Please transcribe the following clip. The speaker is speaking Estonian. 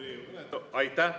Aitäh!